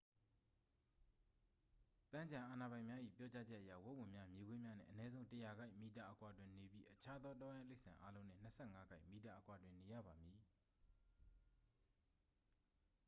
ပန်းခြံအာဏာပိုင်များ၏ပြောကြားချက်အရ၊ ဝက်ဝံများ၊ မြေခွေးများနှင့် အနည်းဆုံး ၁၀၀ ကိုက်/မီတာ အကွာတွင်နေပြီး အခြားသောတောရိုင်းတိရစ္ဆာန်အားလုံးနှင့် ၂၅ ကိုက်/မီတာအကွာတွင်နေရပါမည်။